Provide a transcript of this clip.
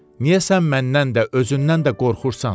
Niyə sən məndən də, özündən də qorxursan?